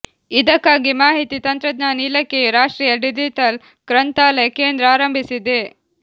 ಇದಕ್ಕಾಗಿ ಮಾಹಿತಿ ತಂತ್ರಜ್ಞಾನ ಇಲಾಖೆಯು ರಾಷ್ಟ್ರೀಯ ಡಿಜಿಟಲ್ ಗ್ರಂಥಾಲಯ ಕೇಂದ್ರ ಆರಂಭಿಸಿದೆ